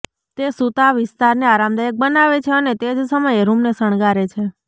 તે સૂતાં વિસ્તારને આરામદાયક બનાવે છે અને તે જ સમયે રૂમને શણગારે છે